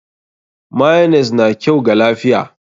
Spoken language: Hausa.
Mayonnaise na kyau ga lafiya?